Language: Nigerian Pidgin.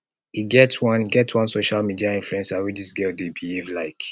e get one e get one social media influencer wey dis girl dey behave like